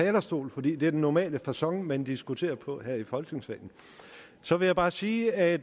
talerstol for det er den normale facon man diskuterer på her i folketingssalen så vil jeg bare sige at